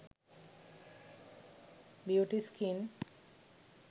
beauty skin